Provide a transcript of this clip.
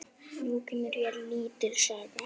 Nú kemur hér lítil saga.